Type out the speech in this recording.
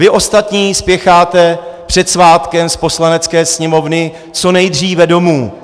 Vy ostatní spěcháte před svátkem z Poslanecké sněmovny co nejdříve domů.